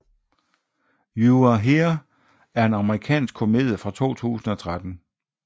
You Are Here er en amerikansk komedie fra 2013